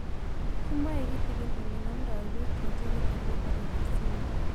Kimwae kitingin ole namdoi pik congenital labor emphysema